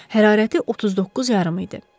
Hərarəti 39 yarım idi.